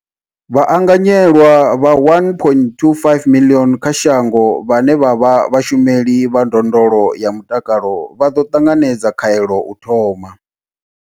Vhaanganyelwa vha 1.25 miḽioni kha shango vhane vha vha vhashumeli vha ndondolo ya mutakalo vha ḓo ṱanganedza khaelo u thoma.